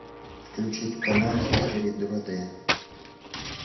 включить канал хистори два д